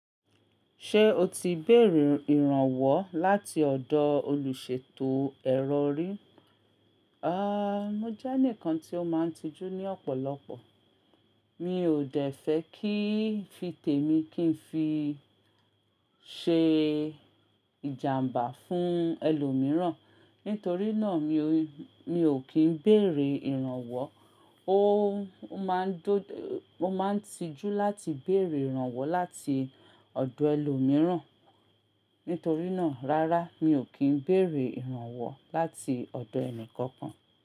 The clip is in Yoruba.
Ṣé o ti béèrè ìrànwọ́ láti ọ̀dọ̀ olùṣètò ẹrọ rí? Mo jeni kan tí ó máa ń tijú ní ọ̀pọ̀lọpọ̀. Mi ò dẹ̀fẹ̀ kí n fi tèmi kí n fi ṣe ìjàǹbá fún ẹlòmíràn. Nítorí náà mi ò kín béèrè ìrànwọ́. O n N máa ń tijú láti béèrè ìrànwọ́ láti ọ̀dọ̀ ẹlòmíràn. Nítorí náà rárá mi ò kí n béèrè ìrànwọ́ láti ọ̀dọ̀ ẹnì kankan.